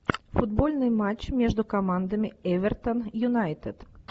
футбольный матч между командами эвертон юнайтед